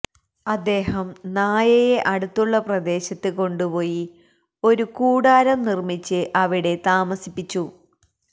അദ്ദേഹം നായയെ അടുത്തുള്ള പ്രദേശത്ത് കൊണ്ടുപോയി ഒരു കൂടാരം നിര്മിച്ച് അവിടെ താമസിപ്പിച്ചു